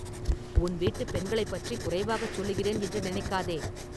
உன் வீட்டுப் பெண்களைப் பற்றிக் குறைவாகச் சொல்லுகிறேன் என்று நினைக்காதே!